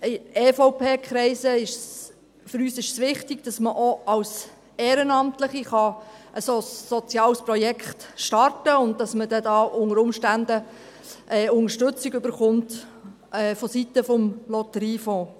Gerade in EVP-Kreisen ist es für uns wichtig, dass man auch als Ehrenamtlicher ein solches soziales Projekt starten kann, und dass man dann dabei unter Umständen Unterstützung vonseiten des Lotteriefonds erhält.